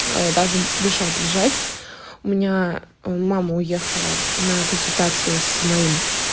даже дышать лежать у меня мама уехала на консультацию с моим